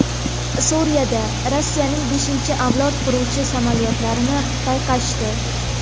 Suriyada Rossiyaning beshinchi avlod qiruvchi samolyotlarini payqashdi.